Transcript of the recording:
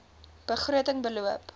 begroting beloop